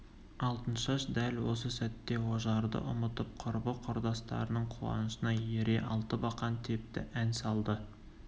алтыншаш дәл осы сәтте ожарды ұмытып құрбы-құрдастарының қуанышына ере алтыбақан тепті ән салды